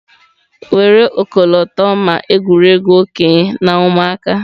Were ọkọlọtọ ma egwuregwu okenye na ụmụaka.